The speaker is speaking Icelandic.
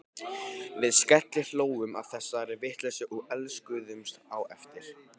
Við skellihlógum að þessari vitleysu og elskuðumst á eftir.